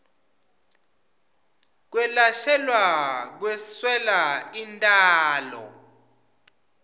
kwelashelwa kweswela intalo